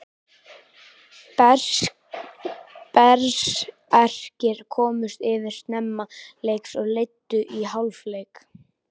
Berserkir komust yfir snemma leiks og leiddu í hálfleik.